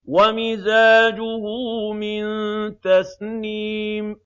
وَمِزَاجُهُ مِن تَسْنِيمٍ